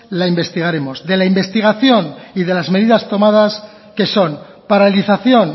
la investigaremos de la investigación y de las medidas tomadas que son paralización